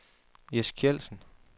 Jess Kjeldsen